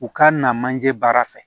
U ka na manje baara fɛ